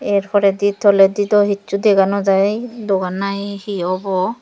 erpore di toledi dw hessu dega nojai dogan na he obo.